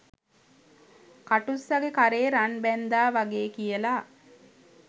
කටුස්සගෙ කරේ රන් බැන්ඳා වගේ කියලා